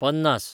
पन्नास